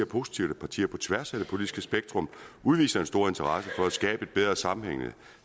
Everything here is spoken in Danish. positivt at partier på tværs af det politiske spektrum udviser en stor interesse for at skabe et bedre sammenhængende